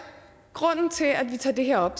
grunden til at vi tager det her op